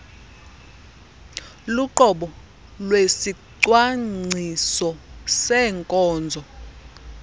luqobo lwesicwangciso seenkonzo